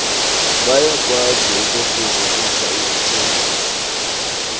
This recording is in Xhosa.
bayakwazi ukufezekisa izithembiso